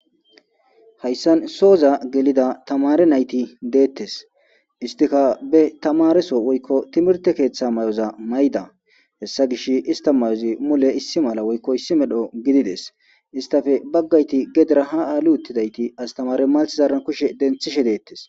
Hayssan sooza gelida tamare nayti deettes istika be tamareso woykko timirte keeththa may'oza mayda hessa gish ista mayozi mule issi mala woykko issi medho gidides istafe baggayti gedira ha aali uttidayti astamare maltzaaran kushe denthishe deettes.